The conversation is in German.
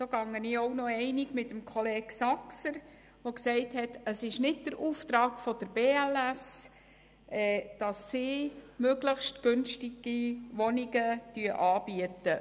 Darin gehe ich mit Kollege Saxer einig, der gesagt hat, es sei kein Auftrag der BLS, möglichst günstige Wohnungen anzubieten.